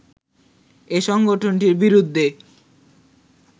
এ সংগঠনটির বিরুদ্ধে